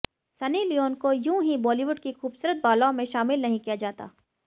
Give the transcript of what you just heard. Sunny Leone को यूं ही बॉलीवुड की खूबसूरत बालाओं में शामिल नहीं किया जाता